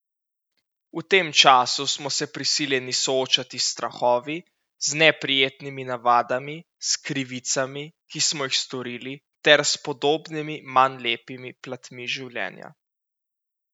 V tem času smo se prisiljeni soočati s strahovi, z neprijetnimi navadami, s krivicami, ki smo jih storili, ter s podobnimi manj lepimi platmi življenja.